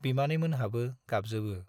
बिमानैमोनहाबो गाबजोबो।